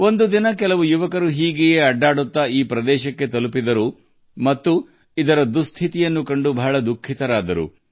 ಒಂದು ದಿನ ಕೆಲವು ಯುವಕರು ತಿರುಗಾಡುತ್ತಾ ಈ ಮೆಟ್ಟಿಲುಬಾವಿಯನ್ನು ತಲುಪಿದರು ಮತ್ತು ಅದರ ಸ್ಥಿತಿಯನ್ನು ಕಂಡು ತುಂಬಾ ದುಃಖಿತರಾದರು